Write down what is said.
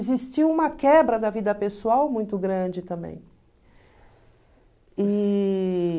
Existia uma quebra da vida pessoal muito grande também. E...